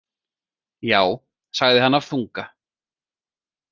Já, sagði hann af þunga.